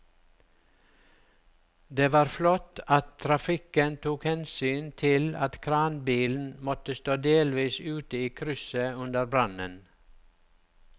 Det var flott at trafikken tok hensyn til at kranbilen måtte stå delvis ute i krysset under brannen.